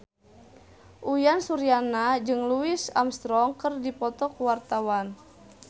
Uyan Suryana jeung Louis Armstrong keur dipoto ku wartawan